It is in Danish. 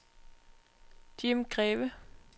Jim Greve